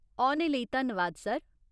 औने लेई धन्नवाद, सर।